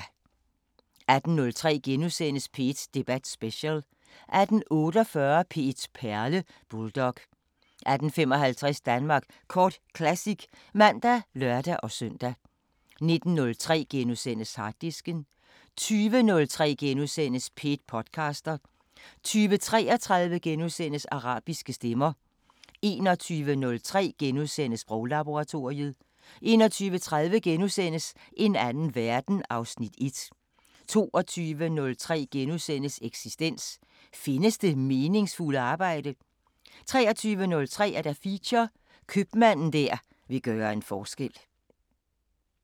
18:03: P1 Debat Special * 18:48: P1 Perle: Bulldog 18:55: Danmark Kort Classic (man og lør-søn) 19:03: Harddisken * 20:03: P1 podcaster * 20:33: Arabiske Stemmer * 21:03: Sproglaboratoriet * 21:30: En anden verden (Afs. 1)* 22:03: Eksistens: Findes det meningsfulde arbejde? 23:03: Feature: Købmanden der vil gøre en forskel